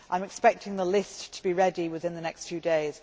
I am expecting the list to be ready within the next few days.